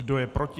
Kdo je proti?